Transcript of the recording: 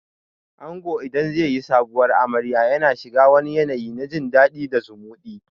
Ango idan zai yi Sabuwar amarya yana shiga wani yanayi na jin dadi da zumuɗi